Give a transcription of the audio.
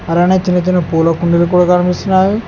అలానే చిన్న చిన్న పూల కుండలు కూడా కనిపిస్తున్నాయి.